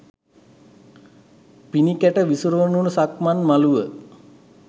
පිනි කැට විසිරුනු සක්මන් මලුව